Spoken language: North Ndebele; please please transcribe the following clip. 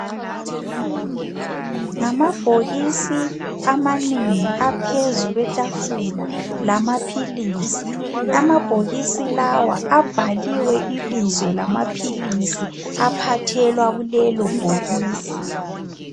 Ngamabhokisi amanengi aphezu kwethafula lamapilisi. Amabhokisi lawa abhaliwe ibizo lamapilisi aphathelwa kulelo bhokisi.